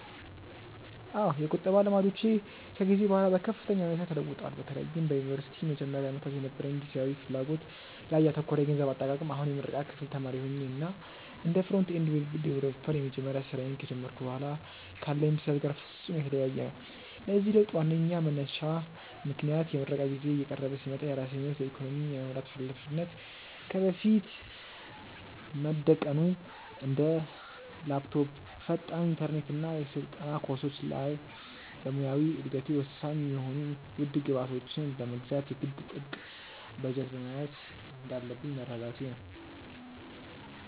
አዎ፣ የቁጠባ ልማዶቼ ከጊዜ በኋላ በከፍተኛ ሁኔታ ተለውጠዋል፤ በተለይም በዩኒቨርሲቲ መጀመሪያ ዓመታት የነበረኝ ጊዜያዊ ፍላጎት ላይ ያተኮረ የገንዘብ አጠቃቀም አሁን የምረቃ ክፍል ተማሪ ሆኜ እና እንደ ፍሮንት-ኤንድ ዌብ ዲቨሎፐር የመጀመሪያ ስራዬን ከጀመርኩ በኋላ ካለኝ ብስለት ጋር ፍጹም የተለያየ ነው። ለዚህ ለውጥ ዋነኛው መንሳሽ ምክንያት የምረቃ ጊዜዬ እየቀረበ ሲመጣ የራሴን ህይወት በኢኮኖሚ የመምራት ሃላፊነት ከፊቴ መደቀኑ እና እንደ ላፕቶፕ፣ ፈጣን ኢንተርኔት እና የስልጠና ኮርሶች ያሉ ለሙያዊ እደገቴ ወሳኝ የሆኑ ውድ ግብዓቶችን ለመግዛት የግድ ጥብቅ በጀት መያዝ እንዳለብኝ መረዳቴ ነው።